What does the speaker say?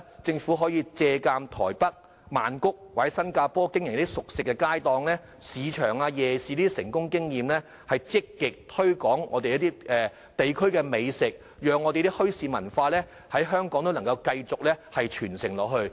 政府可以借鑒台北、曼谷或新加坡經營熟食街檔、市場或夜市等成功經驗，積極推廣本地美食，讓墟市文化在香港繼續傳承下去。